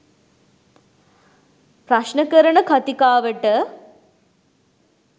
ප්‍රශ්න කරන කතිකාවට